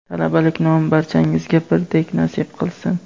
Talabalik nomi barchangizga birdek nasib qilsin.